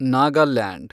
Nagaland